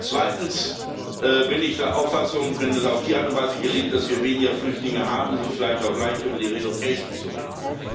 Zweitens bin ich der Auffassung, wenn es auf diese Art und Weise gelingt, dass wir weniger Flüchtlinge haben, ist es vielleicht auch leichter, über die relocation zu reden.